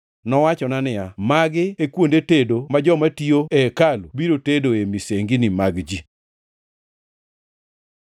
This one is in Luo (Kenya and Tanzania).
Nowachona niya, “Magi e kuonde tedo ma joma tiyo e hekalu biro tedoe misengini mag ji.”